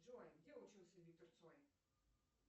джой где учился виктор цой